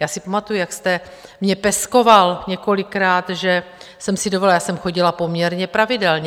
Já si pamatuju, jak jste mě peskoval několikrát, že jsem si dovolila - já jsem chodila poměrně pravidelně.